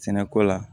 Sɛnɛko la